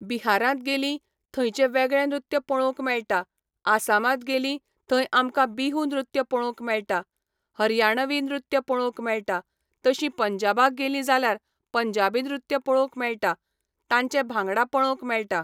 बिहारांत गेलीं, थंयचें वेगळें नृत्य पळोवंक मेळटा, आसामांत गेलीं थंय आमकां बिहू नृत्य पळोवंक मेळटा, हरयाणवी नृत्य पळोवंक मेळटा, तशीं पंजाबाक गेलीं जाल्यार पंजाबी नृत्य पळोवंक मेळटा, तांचे भांगडा पळोवंक मेळटा.